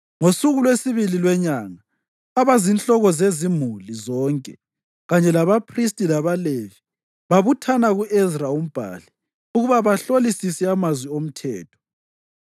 Ngosuku lwesibili lwenyanga, abazinhloko zezimuli zonke, kanye labaphristi labaLevi, babuthana ku-Ezra umbhali ukuba bahlolisise amazwi oMthetho.